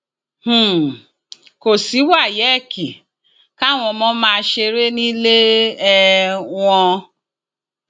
um kò sí wáyéèkì káwọn ọmọ máa ṣeré nílé um wọn